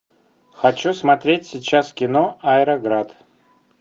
хочу смотреть сейчас кино аэроград